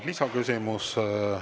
Lisaküsimus.